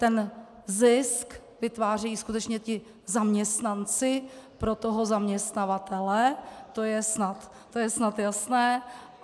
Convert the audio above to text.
Ten zisk vytvářejí skutečně ti zaměstnanci pro toho zaměstnavatele, to je snad jasné.